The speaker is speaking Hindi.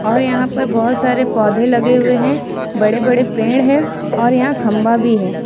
और यहां पर बहुत सारे पौधे लगे हुए हैं बड़े बड़े पेड़ हैं और यहां खंभा भी है।